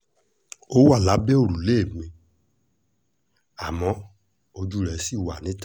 ó wà lábẹ́ òrùlé mi àmọ́ ojú rẹ̀ ṣì wà níta